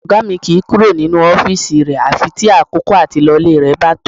Ọ̀gá mi kìí kúrò nínú àfi tí àkókò àti lọ ilé bá tó